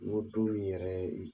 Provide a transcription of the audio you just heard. N'o dun yɛrɛ ye